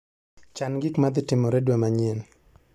Chan gik madhi timore dwe manyien.